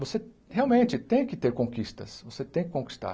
Você realmente tem que ter conquistas, você tem que conquistar.